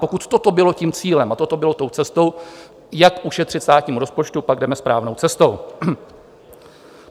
Pokud toto bylo tím cílem a toto bylo tou cestou, jak ušetřit státnímu rozpočtu, pak jdeme správnou cestou.